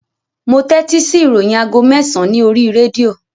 Mo tẹ́tí sí ìròyìn aago mẹ́sàn-án ní oríi rédíò